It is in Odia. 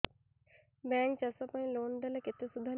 ବ୍ୟାଙ୍କ୍ ଚାଷ ପାଇଁ ଲୋନ୍ ଦେଲେ କେତେ ସୁଧ ନିଏ